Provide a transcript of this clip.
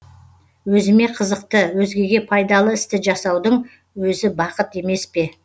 өзіме қызықты өзгеге пайдалы істі жасаудың өзі бақыт емес пе